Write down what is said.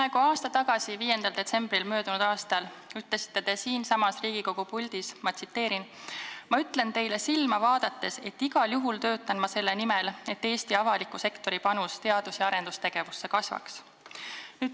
Peaaegu aasta tagasi, 5. detsembril möödunud aastal te ütlesite siinsamas Riigikogu puldis: "Ma ütlen teile silma vaadates, et igal juhul töötan ma selle nimel, et Eesti avaliku sektori panus teadus- ja arendustegevusse kasvaks.